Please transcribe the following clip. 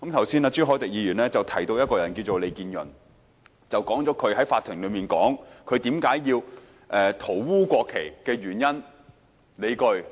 朱凱廸議員剛才提到一位名叫利建潤的人，指他在法庭上解釋他塗污國旗的原因和理據。